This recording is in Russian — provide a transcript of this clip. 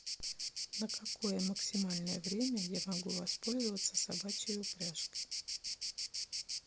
на какое максимальное время я могу воспользоваться собачьей упряжкой